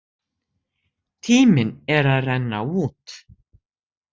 Tíminn er að renna út!